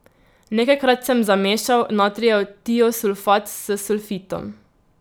Nekajkrat sem zamešal natrijev tiosulfat s sulfitom.